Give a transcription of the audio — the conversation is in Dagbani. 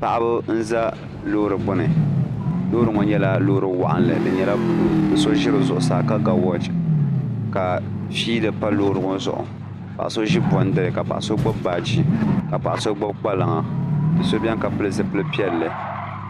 paɣaba n-za loori gbuni loori ŋɔ nyɛla loori wɔɣinlli di nyɛla buluu do'so ʒi di zuɣusaa ka ga wɔɔchi ka fiili pa loori ŋɔ zuɣu paɣ'so ʒi bɔndiri ka paɣ'so gbubi baaji ka paɣ'so gbuni kpalaŋa do'so beni ka pili zupili piɛlli